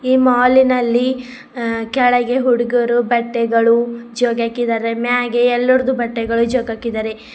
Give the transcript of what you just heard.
ಈ ಮಾಲ್ ನಲ್ಲಿ ಕೆಳಗೆ ಹುಡುಗರ ಬಟ್ಟೆಗಳು ಜೋಗ್ ಹಾಕಿದ್ದಾರೆ ಮ್ಯಾಗೆ ಎಲ್ಲೋರದು ಬಟ್ಟೆದು ಜೋಗ್ ಹಾಕಿದರೆ.